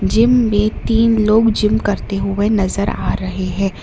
Gym में तीन लोग जिम करते हुए नजर आ रहे हैं।